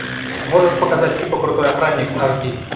можешь показать типа крутой охранник аш ди